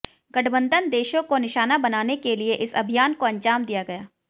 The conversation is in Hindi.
गठबंधन देशों को निशाना बनाने के लिए इस अभियान को अंजाम दिया गया